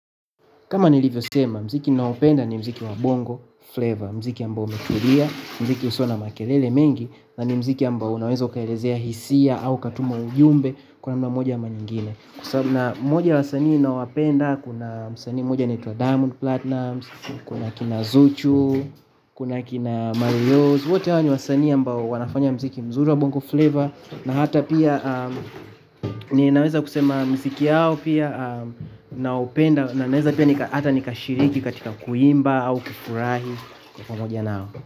Kama nilivyo sema, mziki naopenda ni mziki wa bongo flavor mziki ambao umetulia, mziki usio na makelele mengi na ni mziki ambao unaweza ukaelezea hisia au katuma ujumbe kwa namna moja ama nyingine na mmoja ya wasanii ninao wapenda, kuna msanii mmoja anaitwa diamond platinumz kuna akina zuchu kuna akina marioo wote hao ni wasanii ambao wanafanya mziki mzuri wa bongo fleva na hata pia ninaweza kusema mziki yao pia naupenda na naeza pia nika hata nikashiriki katika kuimba au kufurahi pamoja nao.